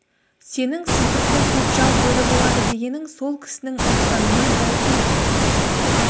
сенің сыздықты көкжал бөрі болады дегенің сол кісінің айтқанына дәл келіп тұр